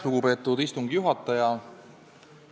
Lugupeetud istungi juhataja!